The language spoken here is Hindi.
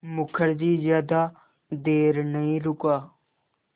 मुखर्जी ज़्यादा देर नहीं रुका